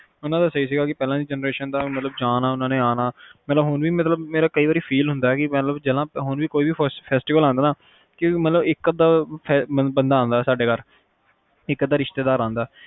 ਓਹਨਾ ਦਾ ਸਹੀ ਸੀ ਪਹਿਲਾ ਦੀ generation ਦਾ ਕ ਉਹਨਾਂ ਨੇ ਜਾਣਾਉਹਨਾਂ ਨੇ ਆਨਾ ਪਹਿਲਾ ਹੁਣ ਵੀ ਮੇਨੂ ਕਯੀ ਵਰ feel ਹੁੰਦਾ ਕ ਹੁਣ ਵੀ ਕੋਈ festival ਆਂਦਾ ਹੈ ਕਿ ਇਕ ਅੱਧਾ ਬੰਦਾ ਆਉਂਦਾ ਸਾਡੇ ਘਰ, ਇਕ ਅੱਧਾ ਰਿਸ਼ਤੇਦਾਰ ਆਉਂਦਾ